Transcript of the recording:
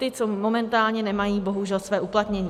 Ti, co momentálně nemají bohužel své uplatnění.